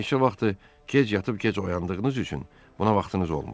Neçə vaxtdır gec yatıb gec oyandığınız üçün buna vaxtınız olmur.